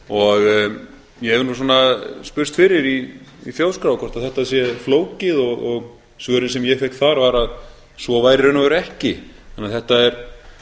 og ég hef nú svona spurst fyrir í þjóðskrá hvort þetta sé flókið og svörin sem ég fékk þar var að svo væri í raun og veru ekki þannig að þetta er